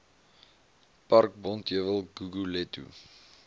park bonteheuwel guguletu